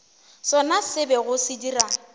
sona se bego se dira